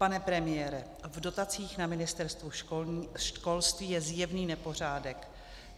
Pane premiére, v dotacích na Ministerstvu školství je zjevný nepořádek.